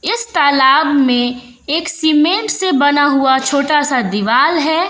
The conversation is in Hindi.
इस तालाब में एक सीमेंट से बना हुआ छोटा सा दीवाल है।